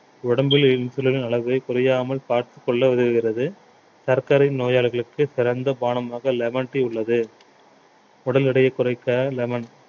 உடம்பில் insulin ன் அளவை குறையாமல் பார்த்துக்கொள்ள உதவுகிறது சர்க்கரை நோயாளிகளுக்கு சிறந்த பானமாக lemon tea உள்ளது உடல் எடையை குறைக்க lemon